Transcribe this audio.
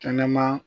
Kɛnɛma